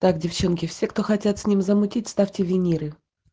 так девчонки все кто хотят с ним замутить ставьте виниры